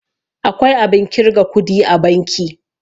akwai abin kirga kudi a banki